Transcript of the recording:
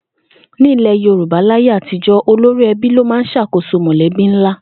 Ní ilè̩ Yorùbá láyé àtijó̩, olórí e̩bí ló máa ń s̩àkóso mò̩lé̩bí ńlá